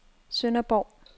Sønderborg